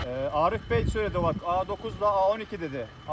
Arif bəy dedi o vaxt A9-la A12 dedi.